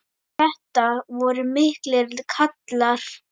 Þetta voru miklir kallar.